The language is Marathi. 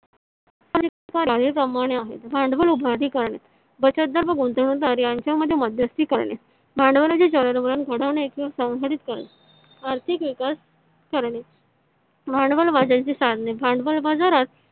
खालील प्रमाणे आहेत भांडवल उभारणीकरण बचतदार व गुंतवणूकदार यांच्यामध्ये मध्यस्थी करणे आर्थिक विकास करणे भांडवल बाजाराची साधने भांडवल बाजारात